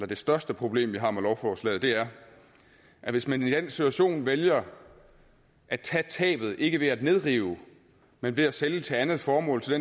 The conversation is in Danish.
det største problem vi har med lovforslaget er at hvis man i den situation vælger at tage tabet ikke ved at nedrive men ved at sælge til andet formål til